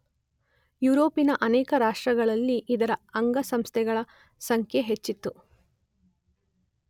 ಯುರೋಪಿನ ಅನೇಕ ರಾಷ್ಟ್ರಗಳಲ್ಲಿ ಇದರ ಅಂಗಸಂಸ್ಥೆಗಳ ಸಂಖ್ಯೆ ಹೆಚ್ಚಿತು.